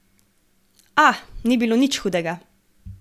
A, ni bilo nič hudega.